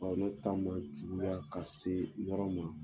ne ta ma juguya ka se yɔrɔ ma